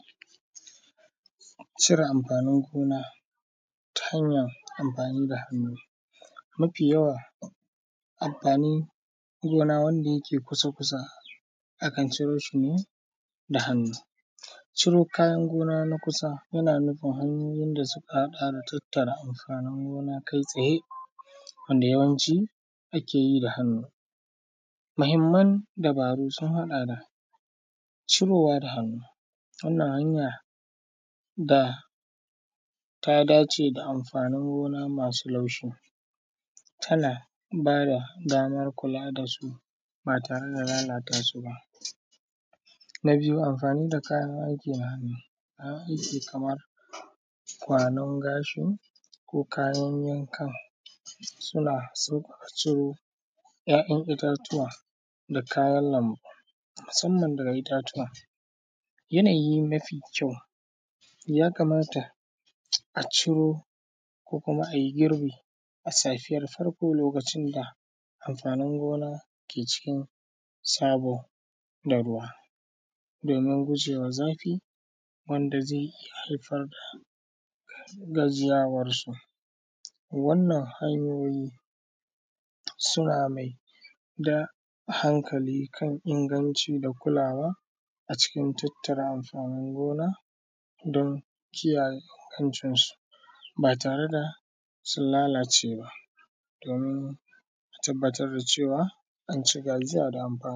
Cire amfanin gona ta hanyara amfani da hannu, mafi yawa amfanin gona wanda yake kusa-kusa akan ciro shi ne da hannu. Ciro kayan gona na kusa yana nufin hanyoyin da suka haɗa da tattara amfanin gona kai tsaye, wanda yawanci akeyi da hannu. Muhimman dabaru sun haɗa da cirowa da hannu, wannan hanyar da ta dace da amfanin gona masu laushi, tana bada damar kula dasu ba tare da lalata suba. Na biyu, amfani da kayan aiki na hannu, kayan aiki kamar kwanon gashin ko kayan yankan, suna sauƙaƙa ciro ‘ya’yan itatuwa da kayan lambu, musamman daga itattuwa. Yanayi mafi kyau, ya kamata a ciro ko kuma a yi girbi a safiyar farko lokacin da amfanin gona ke cikin sabo da ruwa, domin gujewa zafi, wanda zai iya haifar da gajiyawar su. Wannan hanyoyi, suna maida hankali kan inganci da kulawa acikin tattare amfanin gona don kiyaye ingancin su, ba tare da sun lalace ba, domin tabbatar da cewa.